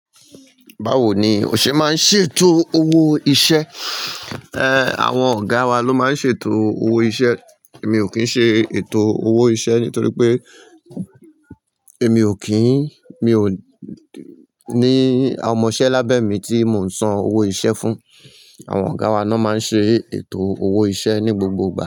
Báwo ni o ṣe máa ń ṣètò owó iṣẹ́? Ehn, àwọn ọ̀gá wa ló máa ń ṣètò owó iṣẹ́. Èmi ò kì í ṣe ètò owó iṣẹ́ nítorí pé èmi ò kíń, mi ò ní àwọn ọmọṣẹ́ lábẹ́ mi tí mò ń san owó iṣẹ́ fún. Àwọn ọ̀gá wa náà máa ń ṣe ètò owó iṣẹ́ ní gbogbogbò.